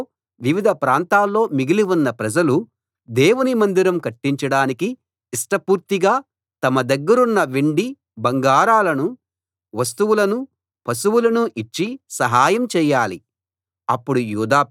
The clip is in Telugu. యెరూషలేములో వివిధ ప్రాంతాల్లో మిగిలి ఉన్న ప్రజలు దేవుని మందిరం కట్టించడానికి ఇష్టపూర్తిగా తమ దగ్గరున్న వెండి బంగారాలను వస్తువులను పశువులను ఇచ్చి సహాయం చేయాలి